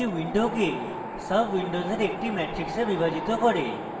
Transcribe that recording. the window সাবwindow একটি matrix বিভাজিত করে